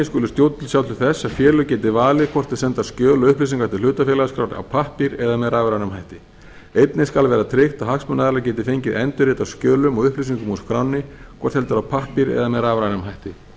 skulu stjórnvöld sjá til þess að félög geti valið hvort þau senda skjöl og upplýsingar til hlutafélagaskrár á pappír eða með rafrænum hætti einnig skal vera tryggt að hagsmunaaðilar geti fengið endurrit af skjölum og upplýsingum úr skránni hvort heldur á pappír eða með rafrænum hætti